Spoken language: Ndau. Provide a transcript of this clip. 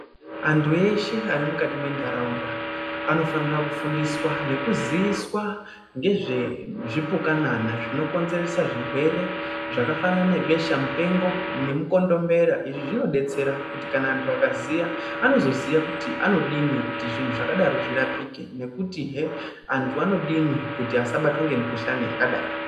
Antu eshe arimukati mentaraunda anofanira kufundiswa nekuziiswa ngezvezvipukanana zvinokonzeresa zvirwere zvakafanana nebesha mupengo nemukondombera izvi zvinodetsera kuti kana antu akaziya anozoziya kuti anodini kuti zvinhu zvakadaro zvirapike nekuti heee antu anodini kuti asabatwa nemikhuhlani yakadaro.